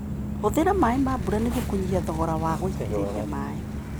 Hũthĩra maĩ ma mbura nĩguo kũnyihia thogora wa gũitĩrĩria maĩ.